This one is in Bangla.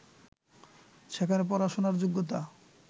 সেখানে পড়াশোনার যোগ্যতা